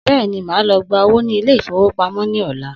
Bẹ́ẹ̀ni, màa lọ gba owó ní Ilé-ìfowópamó ní ọ̀la